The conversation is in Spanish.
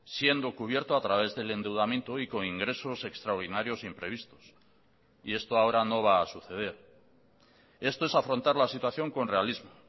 siendo cubierto a través del endeudamiento y con ingresos extraordinarios imprevistos y esto ahora no va a suceder esto es afrontar la situación con realismo